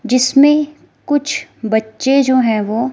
जिसमें कुछ बच्चे जो है वो--